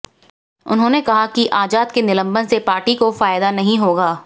उन्होंने कहा कि आजाद के निलंबन से पार्टी को फायदा नहीं होगा